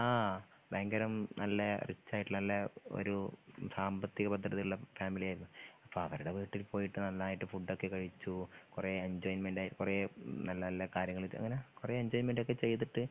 ആ ഭയങ്കരം നല്ല റിച്ചായിട്ട്ള്ള നല്ല ഒര് സാമ്പത്തിക ഭദ്രതള്ള ഫാമിലിയായിരുന്നു അപ്പൊ അവരുടെ വീട്ടിൽ പോയിട്ട് നന്നായിട്ട് ഫുഡൊക്കെ കഴിച്ചു കൊറേ എന്ജോയ്മെന്റായി കൊറേ നല്ല നല്ല കാര്യങ്ങള് അങ്ങനാ കൊറേ എന്ജോയ്മെന്റൊക്കെ ചെയ്തിട്ട്